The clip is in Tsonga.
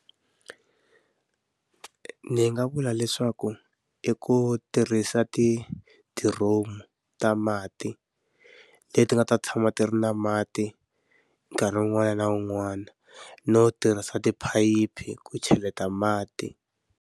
Ni nga vula leswaku i ku tirhisa tidiromu ta mati, leti nga ta tshama ti ri na mati nkarhi wun'wana na wun'wana, no tirhisa tiphayiphi ku cheleta mati